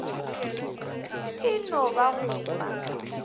e no ba go fa